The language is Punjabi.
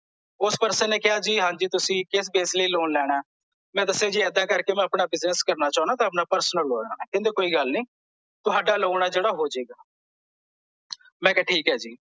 ਓਸ person ਨੇ ਕਿਹਾ ਜੀ ਹਾਂਜੀ ਤੁਸੀਂ ਕਿਸ ਕੇਸ ਲਈ ਲੋਨ ਲੈਣਾ ਐ ਮੈਂ ਦੱਸਿਆ ਜੀ ਐਦਾਂ ਕਰਕੇ ਮੈਂ ਆਪਣਾ business ਕਰਨਾ ਚਾਹੁਣਾ ਤੇ ਆਪਣਾ personal ਲੋਨ ਲੈਣਾ ਐ ਕਹਿੰਦੇ ਕੋਈ ਗੱਲ ਨਹੀਂ ਤੁਹਾਡਾ ਲੋਨ ਆ ਜਿਹੜਾ ਹੋ ਜੇ ਗਾ ਮੈਂ ਕਿਹਾ ਠੀਕ ਐ ਜੀ